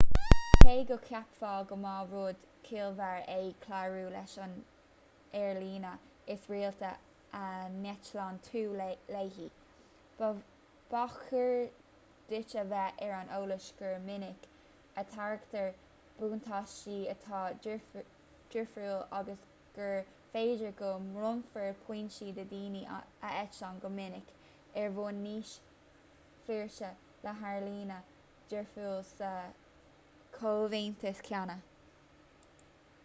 cé go gceapfá go mba rud ciallmhar é clárú leis an aerlíne is rialta a n-eitlíonn tú léi ba chóir duit a bheith ar an eolas gur minic a thairgtear buntáistí atá difriúil agus gur féidir go mbronnfar pointí do dhaoine a eitlíonn go minic ar bhonn níos flúirse le haerlíne difriúil sa chomhaontas céanna